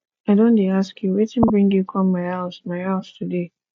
i don dey ask you wetin bring you come my house my house today